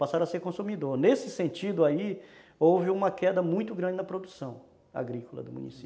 Passaram a ser consumidor, nesse sentido aí houve uma queda muito grande na produção agrícola do município.